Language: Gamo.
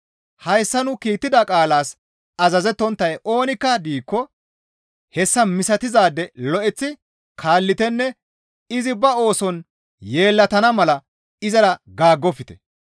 Hayssa nu kiittida qaalaas azazettonttay oonikka diikko hessa misatizaade lo7eththi kaallitenne izi ba ooson yeellatana mala izara gaaggofte.